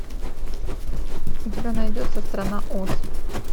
у тебя найдется страна оз